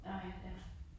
Nåh ja, ja